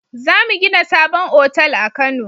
Zamu gina sabon otal a kano